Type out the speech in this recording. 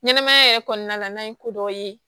Ɲɛnɛmaya yɛrɛ kɔnɔna la n'a ye ko dɔ ye